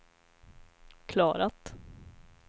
klarat